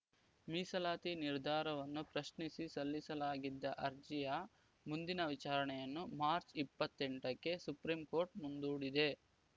ಮೀಸಲಾತಿ ನಿರ್ಧಾರವನ್ನು ಪ್ರಶ್ನಿಸಿ ಸಲ್ಲಿಸಲಾಗಿದ್ದ ಅರ್ಜಿಯ ಮುಂದಿನ ವಿಚಾರಣೆಯನ್ನು ಮಾರ್ಚ್ ಇಪ್ಪತ್ತೆಂಟಕ್ಕೆ ಸುಪ್ರೀಂ ಕೋರ್ಟ್ ಮುಂದೂಡಿದೆ